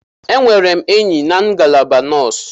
Enwere m enyi na ngalaba nọọsụ.